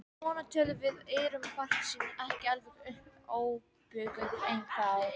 Svona tölum við og erum bjartsýn, ekki alveg óbuguð ennþá.